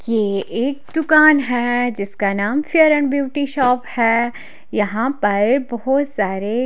ये एक दुकान है जिसका नाम फेयर एंड ब्यूटी शॉप है यहां पर बहोत सारे--